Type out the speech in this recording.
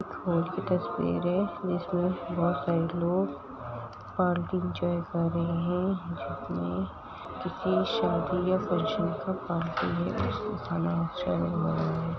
एक हॉल की तस्वीर है। जिसमें बहुत सारे लोग पार्टी एन्जॉय कर रहे हैं। जिसमें किसी शादी या फंक्शन का खाना चल रहा है।